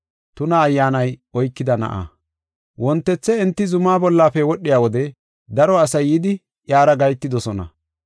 Wontethe enti zuma bollafe wodhiya wode daro asay yidi iyara gahetidosona.